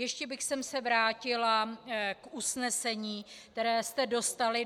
Ještě bych se vrátila k usnesení, které jste dostali.